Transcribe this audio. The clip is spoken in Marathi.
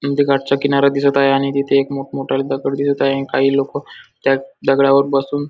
नदीचा काटचा किनारा दिसत आहे आणि तिथे एक मोठ मोठे दगड दिसत आहे काही लोक त्या दगडावर बसून --